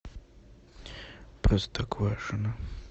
простоквашино